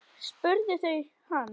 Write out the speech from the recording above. spurðu þau hann.